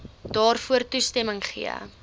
daarvoor toestemming gegee